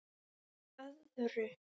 Að öðru.